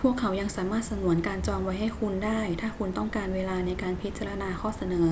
พวกเขายังสามารถสงวนการจองไว้ให้คุณได้ถ้าคุณต้องการเวลาในการพิจารณาข้อเสนอ